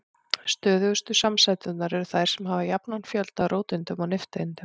Stöðugustu samsæturnar eru þær sem hafa jafnan fjölda af róteindum og nifteindum.